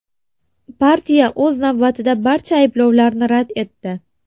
Partiya, o‘z navbatida, barcha ayblovlarni rad etdi.